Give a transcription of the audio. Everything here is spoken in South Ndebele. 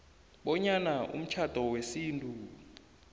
bonyana umtjhado wesintu